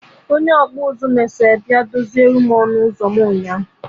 Onye ọkpụ nzụ mesịa bịa dozie ọnụ ụzọ m nyaa